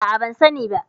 A'a, ban sani ba.